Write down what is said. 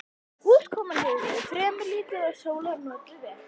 Úrkoman hefur verið fremur lítil og sólar notið vel.